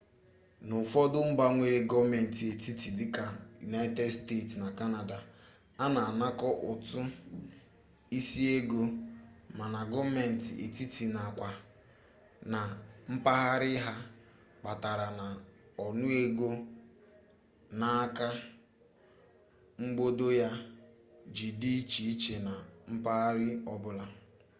n'ufodu mba nwere goomenti etiti dika united states na canada ana anako utu isi ego ma na goomenti etiti na kwa na mpaghara ya kpatara na onuego n'aka mgbodo ya ji di iche iche na mpaghara obula